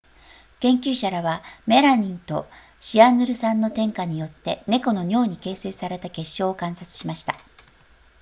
研究者らはメラミンとシアヌル酸の添加によって猫の尿に形成された結晶を観察しました